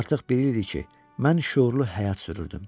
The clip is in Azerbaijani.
Artıq bir il idi ki, mən şüurlu həyat sürürdüm.